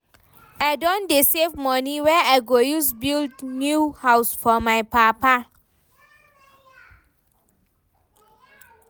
I don dey save moni wey I go use build new house for my papa.